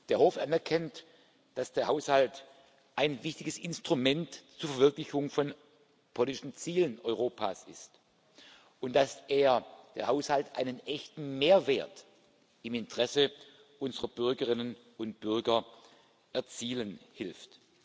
Der Hof erkennt an, dass der Haushalt ein wichtiges Instrument zur Verwirklichung von politischen Zielen Europas ist und dass er der Haushalt einen echten Mehrwert im Interesse unserer Bürgerinnen und Bürger erzielen hilft.